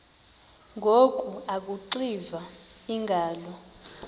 ngoku akuxiva iingalo